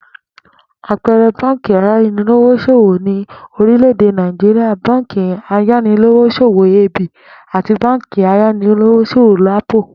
Àpe̩e̩re̩ báǹkì ayanilówós̩òwò ní orílè̩-èdè Nàìjíríà báǹkì ayanilówós̩òwò AB àti báǹkì ayanilówós̩òwò LAPO